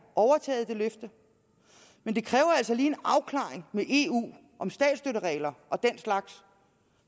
overtaget men det kræver altså lige en afklaring med eu om statsstøtteregler og den slags